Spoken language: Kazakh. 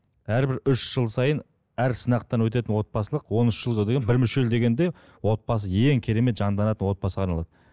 әрбір үш жыл сайын әр сынақтан өтетін отбасылық он үш жылда деген бір мүшел дегенде отбасы ең керемет жанданатын отбасыға арналады